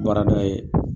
Baarada ye